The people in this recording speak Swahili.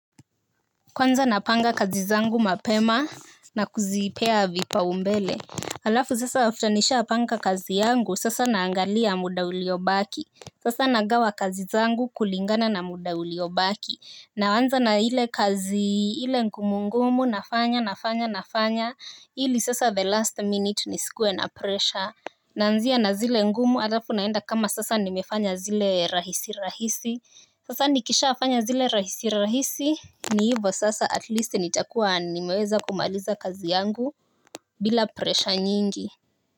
Kwanza napanga kazi zangu mapema. Na kuzipea vipaumbele. Alafu sasa after nishapanga kazi yangu sasa naangalia muda uliobaki. Sasa nagawa kazi zangu kulingana na muda uliobaki. Naanza na ile kazi ile ngumu ngumu nafanya nafanya nafanya ili sasa the last minute nisikuwe na presha. Naanzia na zile ngumu alafu naenda kama sasa nimefanya zile rahisi rahisi. Sasa nikishafanya zile rahisi rahisi. Ni hivo sasa at least nitakuwa nimeweza kumaliza kazi yangu bila presha nyingi.